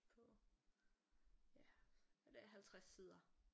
På ja ja det er 50 sider